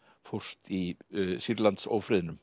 fórst í